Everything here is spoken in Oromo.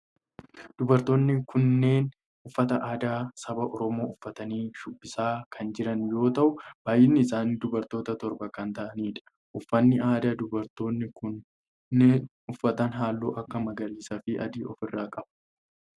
Dubartoonni kunneen uffata aadaa saba oromoo uffatanii shubbisaa kan jiran yoo ta'u baayyinni isaanii dubartoota torba kan ta'aanidha. Uffanni aadaa dubartoonni kunneen uffatan halluu akka magariisaa fi adii of irraa qaba.